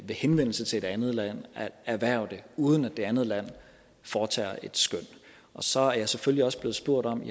henvendelse til et andet land at erhverve det uden at det andet land foretager et skøn så er jeg selvfølgelig også blevet spurgt om